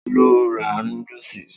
Ta ló ra núdúsì?